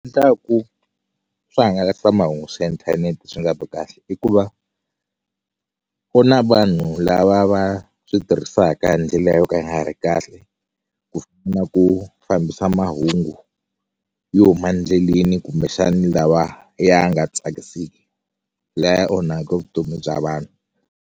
swihngalasamahungu swa inthanete swi nga vi kahle i ku va ku na vanhu lava va switirhisaka hi ndlela yo ka yi nga ri kahle ku na ku fambisa mahungu yo huma ndleleni kumbexani lawa ya nga tsakiseki laya onhaka vutomi bya vanhu.